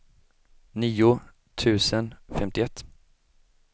nio tusen femtioett